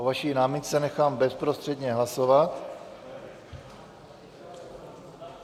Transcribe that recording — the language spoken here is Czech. O vaší námitce nechám bezprostředně hlasovat.